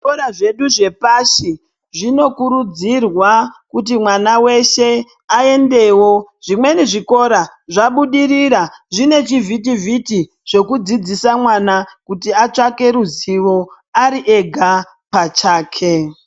Zvikora zvedu zve pashi zvino kurudzirwa kuti mwana weshe ayendewo zvimweni zvikora zvabudirira zvine chi vhiti vhiti zvoku dzidzisa mwana kuti atsvake ruzivo ari ega pachake.